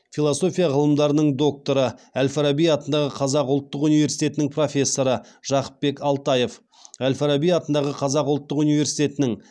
философия ғылымдарының докторы әл фараби атындағы қазақ ұлттық университетінің профессоры жақыпбек алтаев әл фараби атындағы қазақ ұлттық университетінің